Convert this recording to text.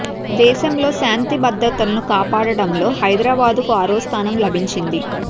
దేశంలో శాంతి భద్రతలను కాపాడటంలో హైదరాబాద్ కు ఆరో స్థానం లభించింది